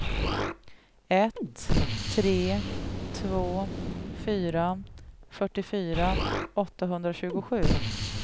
ett tre två fyra fyrtiofyra åttahundratjugosju